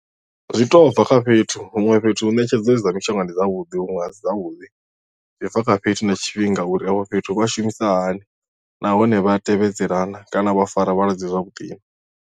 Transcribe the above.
Zwi to bva kha fhethu huṅwe fhethu hu ṋetshedzo dza mishonga ndi zwavhuḓi huṅwe a si zwavhuḓi zwi bva kha fhethu na tshifhinga uri afho fhethu vha shumisa hani nahone vha tevhedzela na kana vha fara vhalwadze zwavhuḓi.